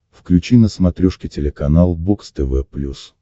включи на смотрешке телеканал бокс тв плюс